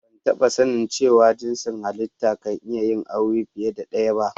Ban taba sani cewa jinsin hallita kan iya yin aure fiyar da daya ba.